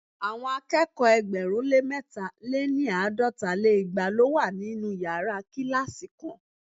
Àwọn akẹ́kọ̀ọ́ ẹgbẹ̀rún lé mẹ̀ta- lé ní àádọ́ta lé igba lo wa ninu yara kilasi kan